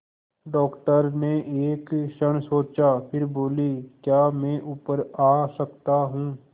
doctor ने एक क्षण सोचा फिर बोले क्या मैं ऊपर आ सकता हूँ